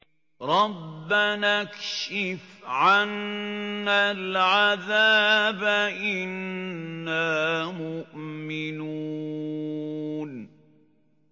رَّبَّنَا اكْشِفْ عَنَّا الْعَذَابَ إِنَّا مُؤْمِنُونَ